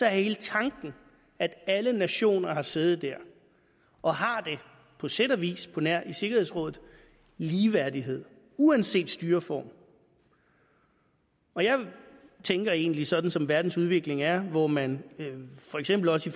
hele tanken at alle nationer har siddet der og har på sæt og vis på nær i sikkerhedsrådet ligeværdighed uanset styreform jeg tænker egentlig sådan som verdens udvikling er hvor man for eksempel også